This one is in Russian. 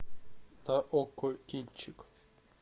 на окко кинчик